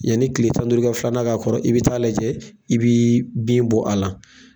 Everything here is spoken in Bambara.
Yani tile tan duuru i ka filanan k'a kɔrɔ i bɛ taa'a lajɛ, i bii bin bɔ a la.